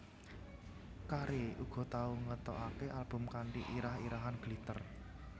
Carey uga tau ngetokake album kanthi irah irahan Glitter